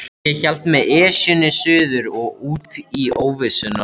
Ég hélt með Esjunni suður og út í óvissuna.